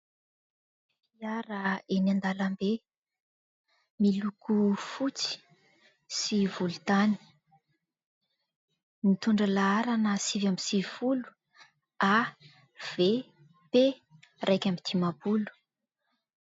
Fiara eny andalam-be miloko fotsy sy volotany mitondra laharana sivy amby sivifolo AVP iraika amby dimampolo.